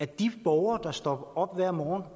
de borgere der står op hver morgen